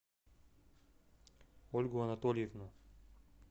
ольгу анатольевну